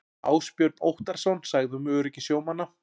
Ásbjörn Óttarsson sagði um öryggi sjómanna.